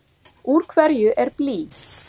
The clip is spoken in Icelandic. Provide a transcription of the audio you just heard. Úr hverju er blý?